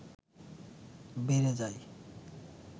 বেড়ে যায়